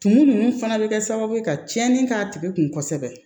Tumu ninnu fana bɛ kɛ sababu ye ka tiɲɛni k'a tigi kun kosɛbɛ